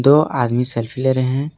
दो आदमी सेल्फी ले रहे हैं।